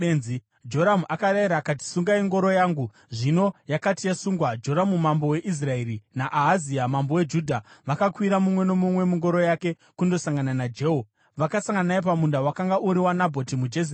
Joramu akarayira akati, “Sungai ngoro yangu.” Zvino yakati yasungwa, Joramu mambo weIsraeri naAhazia mambo weJudha vakakwira mumwe nomumwe mungoro yake, kundosangana naJehu. Vakasangana naye pamunda wakanga uri waNabhoti muJezireeri.